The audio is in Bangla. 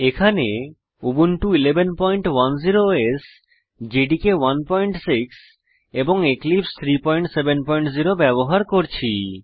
এখানে উবুন্টু 1110 ওএস জেডিকে 16 এবং এক্লিপসে 370 ব্যবহার করছি